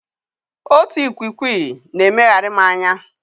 Otu ikwikwii na-emegharị m anya.